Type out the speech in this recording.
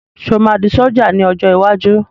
Sọ ma di ṣọ̀já ní ọjọ́ iwájú?